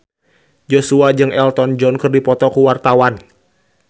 Joshua jeung Elton John keur dipoto ku wartawan